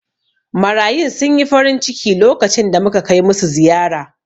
Marayun sun yi farinciki lokacin da muka kai musu ziyara.